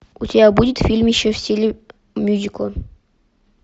у тебя будет фильмище в стиле мюзикла